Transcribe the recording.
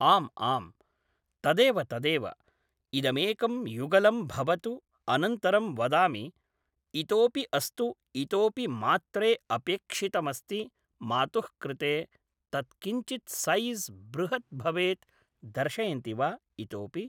आम् आम् तदेव तदेव इदमेकं युगलं भवतु अनन्तरं वदामि इतोऽपि अस्तु इतोऽपि मात्रे अपेक्षितमस्ति मातुः कृते तत् किञ्चित् सैज़् बृहत् भवेत् दर्शयन्ति वा इतोऽपि